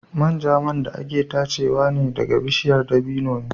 Manja man da ake tachewa ɗaga bishiyar dabino ne.